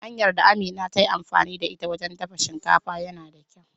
Hanyar da Amina ta yi amfani da ita wajen dafa shinkafa yana da kyau.